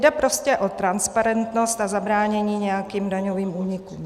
Jde prostě o transparentnost a zabránění nějakým daňovým únikům.